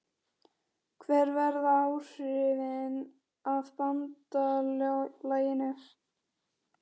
Hver verða áhrifin af BANDALAGINU?